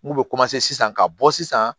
N'u bɛ sisan ka bɔ sisan